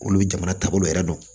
Olu jamana taabolo yɛrɛ don